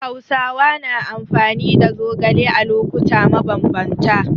Hausawa na amfani da zogale a lokuta mabambanta.